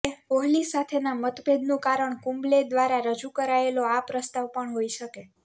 કોહલી સાથેના મતભેદનું કારણ કુંબલે દ્વારા રજૂ કરાયેલો આ પ્રસ્તાવ પણ હોઈ શકે